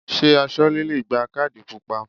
Ṣé Aṣọ́lẹ́ le gba kádì pupa?